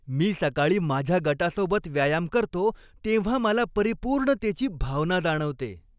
मी सकाळी माझ्या गटासोबत व्यायाम करतो तेव्हा मला परिपूर्णतेची भावना जाणवते.